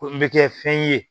Ko n bɛ kɛ fɛn ye